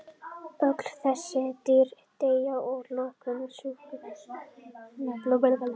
Öll þessi dýr deyja að lokum úr sjúkdómnum að blóðsugunum undanskildum.